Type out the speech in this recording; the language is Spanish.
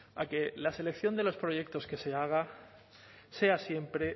a que la selección de los proyectos que se haga sea siempre